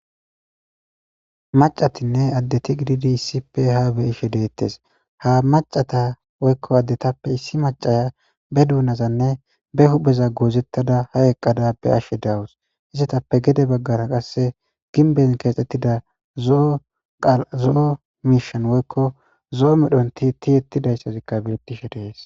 Mac'atinne adeti issipe gidid ha beyishe detes, ha macata woyko adetappe issi macaya be duunazanne be hupheza goozetada ha eqada beyashe de'awus, izetappe gede bagara qase gimbeni keexetida zo'o mishan woyko zo'o medhoni tiyetidaysazika betesi.